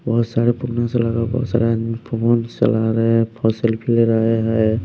बहुत सारे बहुत सारे आदमी फोन चला रहे हैं फस सेल्फी ले रहे हैं।